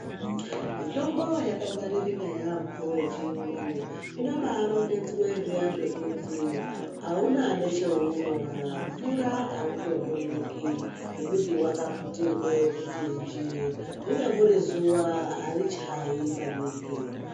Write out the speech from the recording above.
Mitombo yakangwaririka yambo Yechirungu inobarongedzwa kuti auna nechaunoona mvura aitondoneki ngekuti wakaputirwa kuti nji ringangori zuwa Ari chayi maningi.